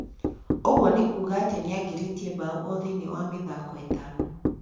Ũguo nĩ kuuga atĩ nĩangĩrĩtie mbaũ othĩiniĩ wa mĩthako ĩtano